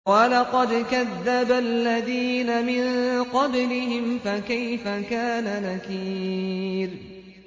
وَلَقَدْ كَذَّبَ الَّذِينَ مِن قَبْلِهِمْ فَكَيْفَ كَانَ نَكِيرِ